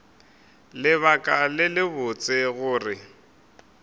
lebaka le lebotse la gore